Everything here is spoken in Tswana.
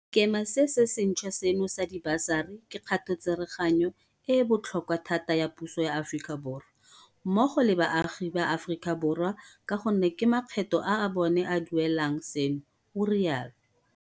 Sekema se se ntšhwa seno sa dibasari ke kgatotsereganyo e e botlhokwa thata ya puso ya Aforika Borwa, mmogo le baagi ba Aforika Borwa ka gonne ke makgetho a bona a a duelelang seno o rialo.